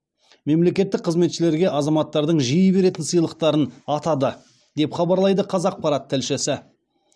мемлекеттік қызметшілерге азаматтардың жиі беретін сыйлықтарын атады деп хабарлайды қазақпарат тілшісі